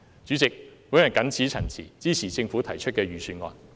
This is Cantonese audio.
主席，我謹此陳辭，支持政府提出的預算案。